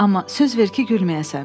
Amma söz ver ki, gülməyəsən.